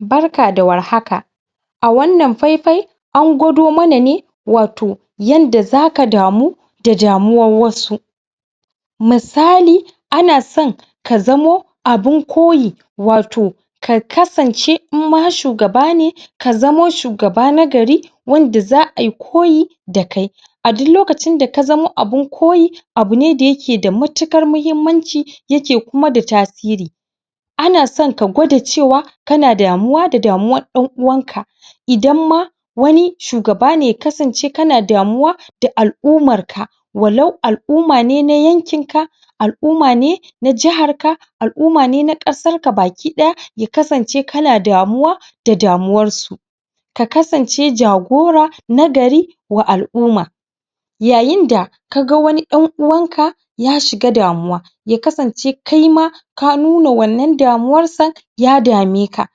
barka da war haka a wannan faifai angwado mana ne wato yanda zaka damu da damuwar wasu misali anasan ka zamu abin koyi ka kasance in ma shugaba ne ka zamu shugaba nagari wanda za ai koyi da kai a dun lokacin da ka zamu abun koyi abu ne da yake da matuƙar mahimmanci kuma da tasiri anasan ka gwada cewa kana damuwa da damuwar dan uwanka idan ma wani shugaba ne ya kasance kana damuwa da al'umarka walau al'uma ne na yankin ka al'uma ne na jahar ka al'uma ne na ƙasarka baki ɗaya ya kasance kana damuwa da damuwarsu ka kasance jagora na gari wa al'uma yayin da kaga wani ɗan uwanka ya shiga damuwa ya kasance kaima ka nuna wannan damuwarsa ya dameka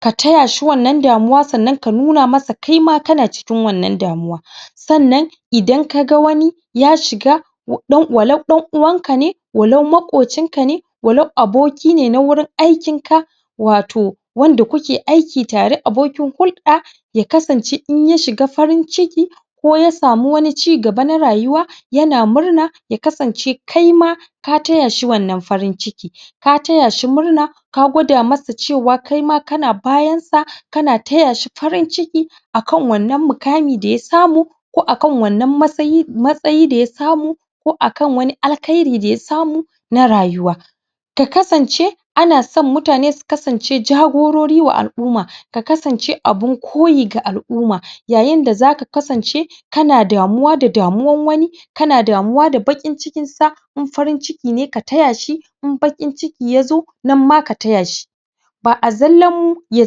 ka tayashi wannan damuwa sannan ka nuna mashi kai ma kana cikin wannan damuwa idan kaga wani ya shiga walau dan uwanka ne walau maƙucin ka ne walau aboki ne na wurin aikin ka wato wanda kuke aiki tare abokin hulɗa ya kasance inya shiga farin ciki ko ya samu wani cigaba na rayuwa yana murna ya kasance kaima ka tayashi wannan farin ciki ka tayashi murna ka gwada masa cewa kaima kana bayansa kana tayashi farin ciki akan wannan mukami daya samu ko akan wannan matsayi daya samu ko akan wani alkhairi daya samu na rayuwa ka kasance anasan mutane su kance jagorori wa al'uma ka kasance abun koyi ga al'uma yayin da zaka kasance kana damuwa da damuwan wani kana damuwa da baƙin cikinsa in farin ciki ne ka tayashi in baƙin ciki yazo nan ma ka tayashi ba a zallam ya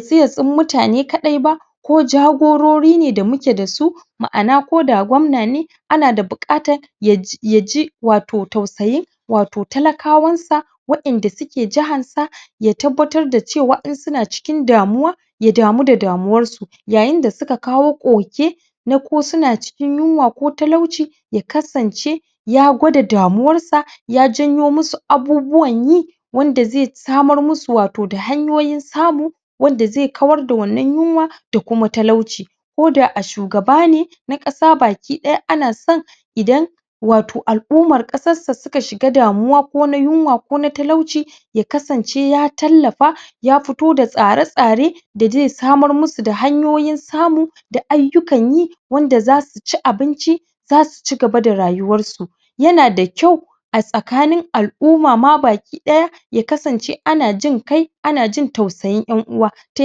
tsi ya tsin mutane kaɗai ba ko jagorori ne da muke dasu ba ma'ana ko da gwamna ne ana da buƙatan yaji wato tausayin wato talakawansa wa inda suke jahansa ya tabbatar da cewa in suna cikin damuwa ya damu da damuwarsu yayain da suka kawo ƙuke na ko suna cikin yunwa ko talauci ya kasance ya gwada damuwarsa ya janyo musu abubuwan yi wanda zai samar musu wato da hanyoyin samu wanda zai kawar da wannan yunwa da kuma talauci ko da a shugaba ne na ƙasa baki ɗaya anasan idan wato al'umar ƙasarsa suka shiga damuwa ko na yunwa ko talauci ya kasance ya tallafa ya fito da tsare tsare da dai samar musu da hanyoyin samu da aiyukan yi wanda zasu ci abinci zasu cigaba da rayuwarsu yana da kyau a tsakanin al'umama baki ɗaya ya kasance ana jinkai ana jin tausayin ƴan'uwa ta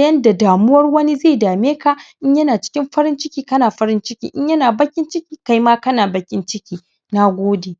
yanda damuwar wani zai dameka in yana cikin farin ciki kana farin cikin in yana baƙin ciki kaima kana baƙin ciki nagode